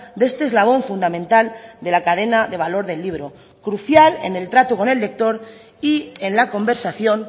de este eslabón fundamental de la cadena de valor del libro crucial en el trato con el lector y en la conversación